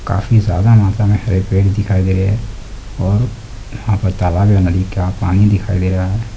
काफी ज़ादा मात्रा में हरे पेड़ दिखाई दे रहे हैं और यहाँ पर तालाब या नदी का पानी दिखाई दे रहा है।